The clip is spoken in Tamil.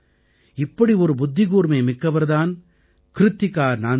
இப்படி ஒரு புத்திகூர்மை மிக்கவர் தான் க்ருத்திகா நாந்தல்